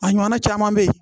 A ɲɔgɔnna caman be yen